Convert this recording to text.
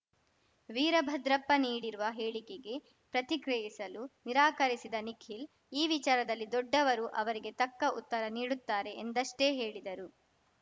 ವೀರಭದ್ರಪ್ಪ ನೀಡಿರುವ ಹೇಳಿಕೆಗೆ ಪ್ರತಿಕ್ರಿಯಿಸಲು ನಿರಾಕರಿಸಿದ ನಿಖಿಲ್‌ ಈ ವಿಚಾರದಲ್ಲಿ ದೊಡ್ಡವರು ಅವರಿಗೆ ತಕ್ಕ ಉತ್ತರ ನೀಡುತ್ತಾರೆ ಎಂದಷ್ಟೇ ಹೇಳಿದರು